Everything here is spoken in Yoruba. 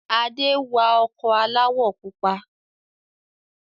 Ade wa ọkọ̀ aláwọ̀ pupa